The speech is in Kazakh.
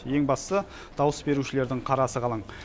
ең бастысы дауыс берушілердің қарасы қалың